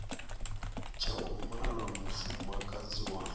tsha u mala mufumakadzi wa